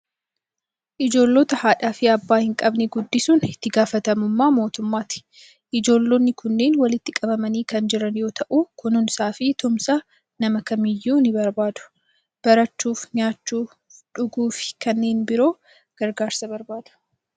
Ijoollota haadhaa fi abbaa hin qabne guddisuun itti gaafatamummaa mootummaati. Ijoollonni kunneen walitti qabamanii kan jiran yoo ta'u, kunuunsaa fi tumsa nama kamiiyyuu ni barbaadu. Barachuuf, nyaachuuf, dhuguu fi kanneen biroof gargaarsa barbaadu.